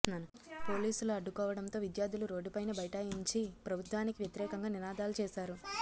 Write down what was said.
పోలీసులు అడ్డుకోవడంతో విద్యార్థులు రోడ్డుపైనే బైఠాయించి ప్రభుత్వానికి వ్యతిరేకంగా నినాదాలు చేశారు